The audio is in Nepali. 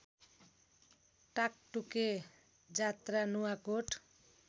टाकटुके जात्रा नुवाकोट